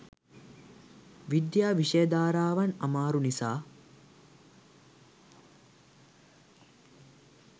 විද්‍යා විෂය ධාරාවන් අමාරු නිසා